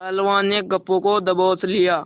पहलवान ने गप्पू को दबोच लिया